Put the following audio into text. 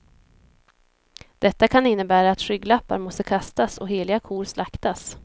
Detta kan innebära att skygglappar måste kastas och heliga kor slaktas.